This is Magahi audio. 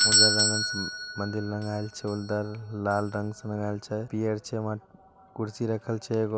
उज्जर रंगल से उम्म मंदिर रंगायल छै उधर लाल रंग से रंगायल छै पीयर छै वहां कुर्सी रखल छै एगो।